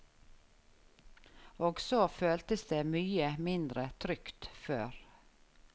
Og så føltes det mye mindre trygt før.